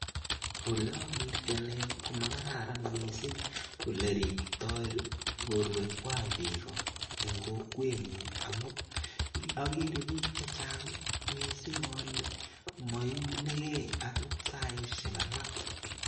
Ole agertei ane ko makararan mising ole riptoi borwekwai bik eng kokwenyu amu agere bik chechang mising ole moiunegei akot saishek alak.